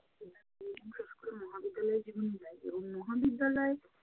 বিশেষ করে মহাবিদ্যালয়ে যখন যাই, তখন মহাবিদ্যালয়ে